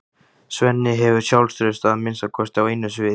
Svenni hefur sjálfstraust að minnsta kosti á einu sviði.